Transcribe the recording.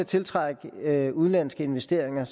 tiltrækning af udenlandske investeringer